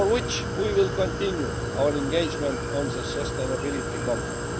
Meanwhile, we will continue our engagement on the Sustainability Compact.